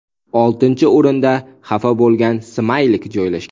Oltinchi o‘rinda xafa bo‘lgan smaylik joylashgan.